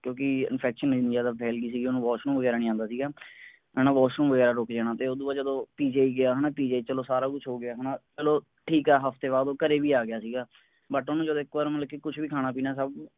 ਕਿਉਂਕਿ infection ਐਨੀ ਜ਼ਿਆਦਾ ਫੇਲ ਗਈ ਸੀ ਓਹਨੂੰ washroom ਵਗੈਰਾ ਨਹੀਂ ਆਉਂਦਾ ਸੀਗਾ ਹੈਨਾ washroom ਵਗੈਰਾ ਰੁੱਕ ਜਾਣਾ ਤੇ ਓਹਦੇ ਬਾਅਦ ਉਦੋਂ PGI ਗਿਆ ਹੈਨਾ PGI ਚਲੋ ਸਾਰਾ ਕੁਛ ਹੋਗਿਆ ਹੈਨਾ ਮਤਲਬ ਠੀਕ ਆ ਹਫਤੇ ਬਾਅਦ ਉਹ ਘਰੇ ਵੀ ਆ ਗਿਆ ਸੀ but ਓਹਨੂੰ ਇੱਕ ਵਾਰੀ ਮਤਲਬ ਕੁਛ ਵੀ ਖਾਣਾ ਪੀਣਾ ਸਬ